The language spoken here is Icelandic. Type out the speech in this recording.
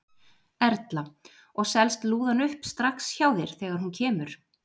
Erla: Og selst lúðan upp strax hjá þér þegar hún kemur?